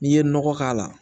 N'i ye nɔgɔ k'a la